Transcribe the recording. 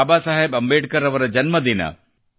ಬಾಬಾ ಸಾಹೇಬ್ ಅಂಬೇಡ್ಕರ್ ಅವರ ಜನ್ಮದಿನ